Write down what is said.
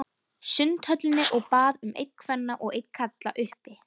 Sundhöllinni og bað um einn kvenna og einn karla, uppi.